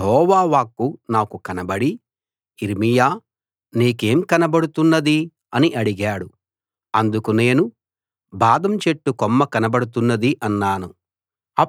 యెహోవా వాక్కు నాకు కనబడి యిర్మీయా నీకేం కనబడుతున్నది అని అడిగాడు అందుకు నేను బాదం చెట్టు కొమ్మ కనబడుతున్నది అన్నాను